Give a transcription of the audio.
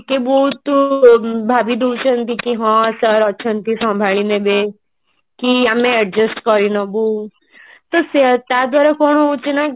ବହୁତ ଭାବି ଦଉଛନ୍ତି କି ହଁ sir ଅଛନ୍ତି ସମ୍ଭାଳି ନେବେ କି ଆମେ adjust କରିନବୁ ତ ସେ ତା ଦ୍ଵାରା କଣ ହଉଛି ନା